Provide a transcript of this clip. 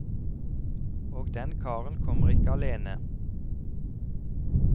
Og den karen kommer ikke alene.